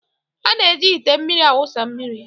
A na-eji ite mmiri awụsa mmiri